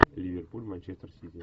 ливерпуль манчестер сити